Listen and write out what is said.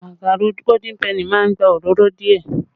Màkàró Golden penny má ń gba òróró díẹ̀